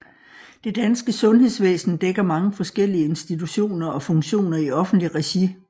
Det danske sundhedsvæsen dækker mange forskellige institutioner og funktioner i offentligt regi